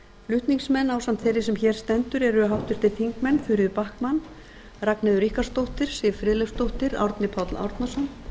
flutningsmenn ásamt þeirri sem hér stendur eru háttvirtir þingmenn þuríður backman ragnheiður ríkharðsdóttir siv friðleifsdóttir árni páll árnason